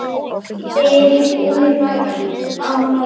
spyr Úlfar á móti?